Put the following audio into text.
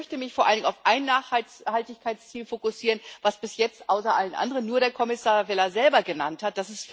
Ich möchte mich vor allen Dingen auf ein Nachhaltigkeitsziel fokussieren, das bis jetzt außer allen anderen nur der Kommissar Vella selber genannt hat.